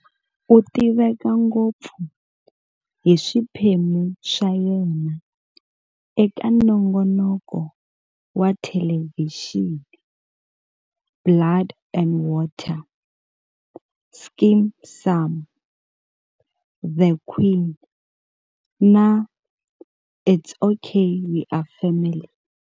U tiveka ngopfu hi swiphemu swa yena eka nongonoko wa thelevhixini "Blood and Water","Skeem Saam", The Queen, na"It's OK We're Family".